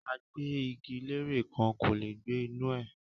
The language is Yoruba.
Agbẹ́-igi-lére kan kò lè gbẹ́ inú u rẹ̀